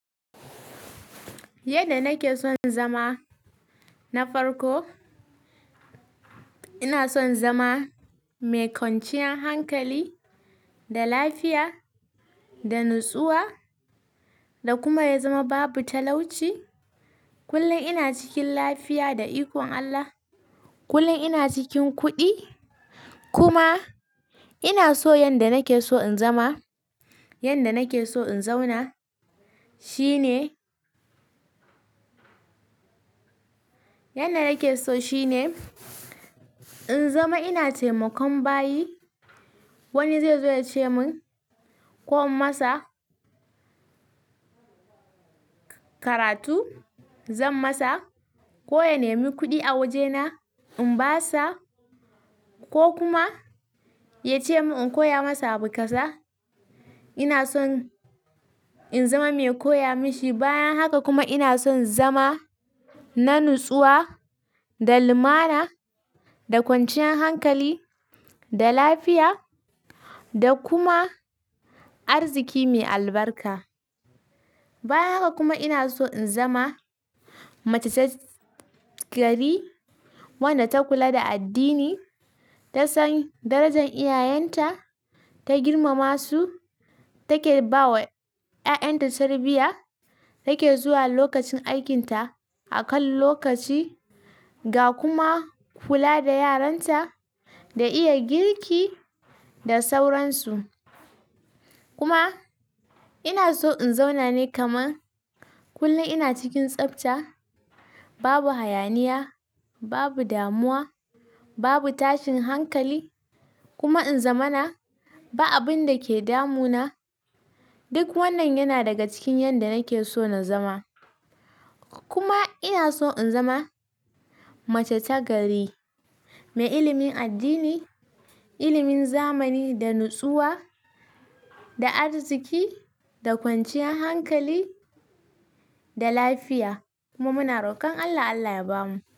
Yanda nake son zama na farko, ina son zama mai kwanciyar hankali da lafiya da natsuwa da kuma ya zama babu talauci. Kullum ina cikin lafiya da ikon Allah. Kullum ina cikin kuɗi kuma ina so yanda nake so in zama, yanda nake so in zauna shine, yanda nake so shine in zama ina taimakon bayi. Wani zai zo ya ce mun ko in masa karatu, zan masa ko ya nemi kuɗi a wajena, in ba sa ko kuma ya ce mun in koya masa abu kaza. Ina son in zama mai koya mashi. Bayan haka kuma ina son zama na natsuwa da lumana da kwanciyan hankali da lafiya da kuma arziki mai albarka. Bayan haka kuma ina so in zama mace ta gari wadda ta kula da addini, ta san darajan iyayenta, ta girmama su, take ba wa ƴaƴanta tarbiyya, take zuwa lokacin aikinta a kan lokaci ga kuma kula da yaranta da iya girki da sauransu. Kuma ina so in zauna ne kaman kullum ina cikin tsafta, babu hayaniya, babu damuwa, babu tashin hankali kuma in zamana ba abinda ke damuna. Duk wannan yana daga cikin yanda nake so na zama. Kuma ina so in zama mace ta gari, mai ilimin addini, ilimin zamani da natsuwa da arziki da kwanciyan hankali da lafiya kuma muna rokon Allah Allah ya bamu.